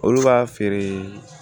Olu b'a feere